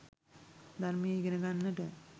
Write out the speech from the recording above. ධර්මය ඉගෙන ගන්නට